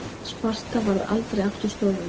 sparta varð aldrei aftur stórveldi